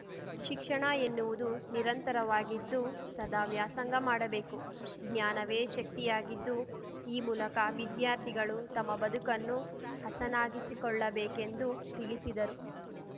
ಶಿಕ್ಷಣ ಎನ್ನುವುದು ನಿರಂತರವಾಗಿದ್ದು ಸದಾ ವ್ಯಾಸಂಗ ಮಾಡಬೇಕು ಜ್ಞಾನವೇ ಶಕ್ತಿಯಾಗಿದ್ದು ಈ ಮೂಲಕ ವಿದ್ಯಾರ್ಥಿಗಳು ತಮ್ಮ ಬದುಕನ್ನು ಹಸನಾಗಿಸಿಕೊಳ್ಳಬೇಕೆಂದು ತಿಳಿಸಿದರು